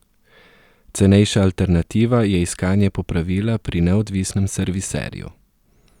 Cenejša alternativa je iskanje popravila pri neodvisnem serviserju.